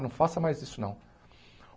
Não faça mais isso não.